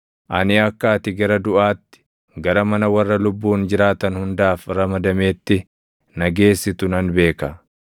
Ani akka ati gara duʼaatti, gara mana warra lubbuun jiraatan hundaaf ramadameetti // na geessitu nan beeka.